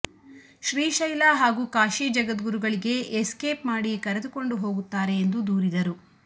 ಶ್ರೀಶೈಲ ಹಾಗೂ ಕಾಶಿ ಜಗದ್ಗುರುಗಳಿಗೆ ಎಸ್ಕೇಪ್ ಮಾಡಿ ಕರೆದುಕೊಂಡು ಹೋಗುತ್ತಾರೆ ಎಂದು ದೂರಿದರು